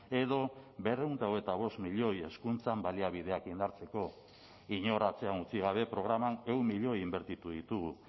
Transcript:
edo berrehun eta hogeita bost milioi hezkuntzan baliabideak indartzeko inor atzean utzi gabe programan ehun milioi inbertitu ditugu